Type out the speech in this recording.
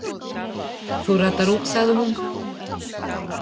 Þú ratar út, sagði hún.